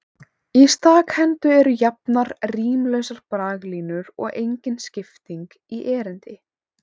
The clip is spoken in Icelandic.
Í stakhendu eru jafnar, rímlausar braglínur og engin skipting í erindi.